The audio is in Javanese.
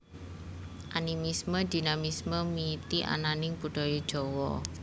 Animisme Dinamisme miwiti ananing Budaya Jawa